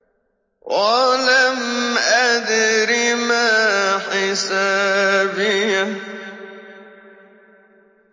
وَلَمْ أَدْرِ مَا حِسَابِيَهْ